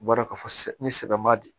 I b'a dɔn k'a fɔ sɛ ni sɛ m'a di